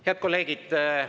Head kolleegid!